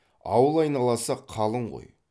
ауыл айналасы қалың қой